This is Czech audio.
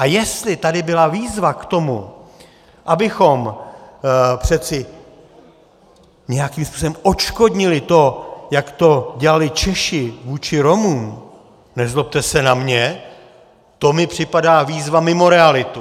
A jestli tady byla výzva k tomu, abychom přeci nějakým způsobem odškodnili to, jak to dělali Češi vůči Romům, nezlobte se na mě, to mi připadá výzva mimo realitu.